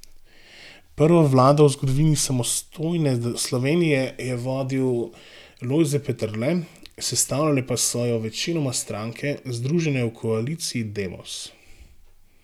Prvo vlado v zgodovini samostojne Slovenije je vodil Lojze Peterle, sestavljale pa so jo večinoma stranke, združene v koaliciji Demos.